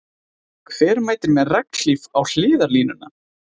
Hver mætir með regnhlíf á hliðarlínuna?